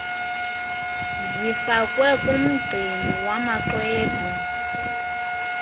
zifakwe kumgcini wamaxwebhu